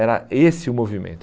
Era esse o movimento.